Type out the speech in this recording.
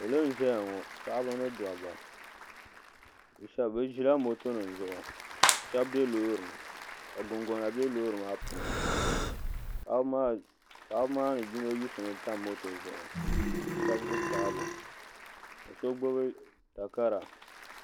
salo n ʒɛya ŋɔ paɣaba ni dabba bi ʒila moto nim zuɣu ka shab bɛ loori ni ka gungona bɛ loori maa puuni paɣaba maa ni yino yiɣisimi tam moto zuɣu ka shab gbubi taabo ka so gbubi takara